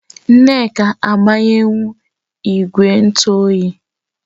Nneka agbanyuhu igwe ntu oyi